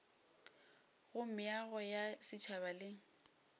go meago ya setšhaba le